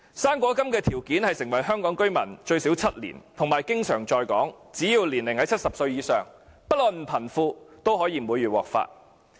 "生果金"的申請條件是申請者已成為香港居民最少7年，並且經常在港，只要年齡在70歲以上，不論貧富也可以每月獲發。